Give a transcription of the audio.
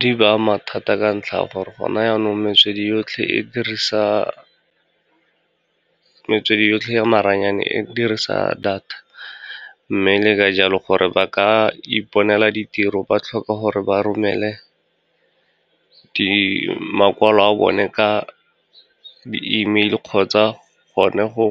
Di ba ama thata ka ntlha ya gore gona yanong metswedi yotlhe ya maranyane e dirisa data. Mme le ka jalo gore ba ka iponela ditiro, ba tlhoka gore ba romele makwalo a bone ka di-email kgotsa gone go